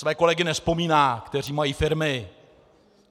Své kolegy nevzpomíná, kteří mají firmy.